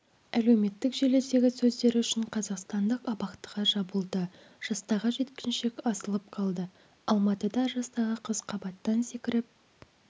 әлеуметтік желідегі сөздері үшін қазақстандық абақтыға жабылды жастағы жеткіншек асылып қалды алматыда жастағы қыз қабаттан секіріп